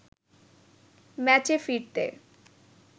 ম্যাচে ফিরতে